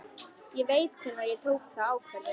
Ég veit hvenær ég tók þá ákvörðun.